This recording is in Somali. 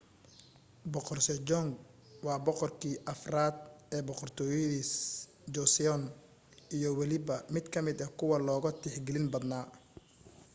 boqor sejong waa boqorkii afraad ee boqortooyadii joseon iyo weliba mid ka mida kuwa loogu tixgelin badnaa